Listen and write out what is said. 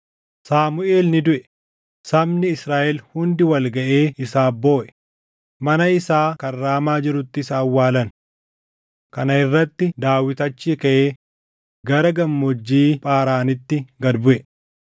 Saamuʼeel ni duʼe; sabni Israaʼel hundi wal gaʼee isaaf booʼe; mana isaa kan Raamaa jirutti isa awwaalan. Kana irratti Daawit achii kaʼee gara Gammoojjii Phaaraanitti gad buʼe.